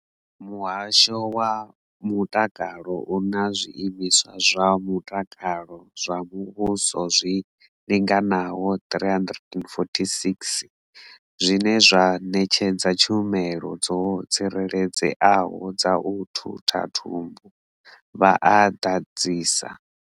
Muhasho wa mutakalo u na zwiimiswa zwa mutakalo zwa muvhuso zwi linganaho 346 zwine zwa ṋetshedza tshumelo dzo tsireledzeaho dza u thutha thumbu, vha a ḓadzisa.